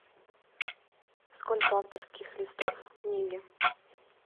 сколько авторских листов в книге